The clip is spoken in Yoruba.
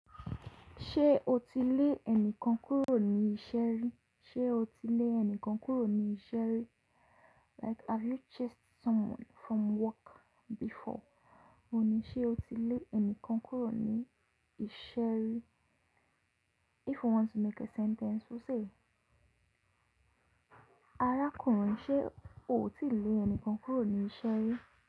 Ṣé o ti lé ẹnìkan kúrò ní iṣẹ́ rí? Ṣé o ti lé ẹnìkan kúrò ní iṣẹ́ rí? Like have you chased someone from work before? Ó ní, ṣé o ti lé ẹnìkan kúrò ní iṣẹ́ rí? If you want to make a sentence, you say, arákùnrin ṣé o ti lé ẹnìkan kúrò ní iṣẹ́ rí?